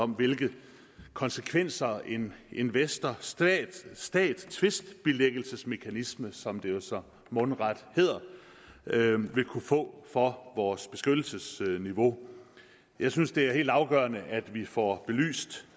om hvilke konsekvenser en investor stat stat tvistbilæggelsesmekanisme som det jo så mundret hedder vil kunne få for vores beskyttelsesniveau jeg synes det er helt afgørende at vi får belyst